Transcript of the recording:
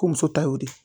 Ko muso ta y'o de ye